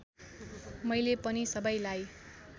मैले पनि सबैलाई